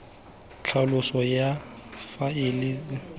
tlhaloso ya faele e setse